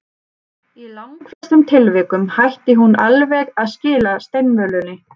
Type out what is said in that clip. Í langflestum tilvikum hætti hún alveg að skila steinvölunni.